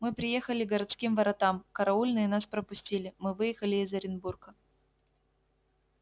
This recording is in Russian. мы приехали к городским воротам караульные нас пропустили мы выехали из оренбурга